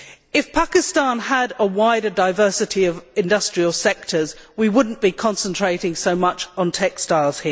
If Pakistan had a greater diversity of industrial sectors, we would not be concentrating so much on textiles.